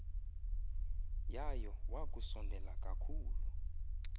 yayo wakusondela kakhulu